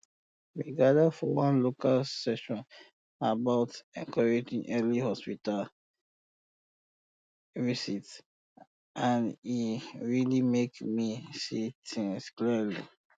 we gather for one local session about encouraging early hospital visit and e really make me see things clearly